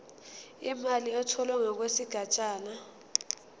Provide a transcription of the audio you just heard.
imali etholwe ngokwesigatshana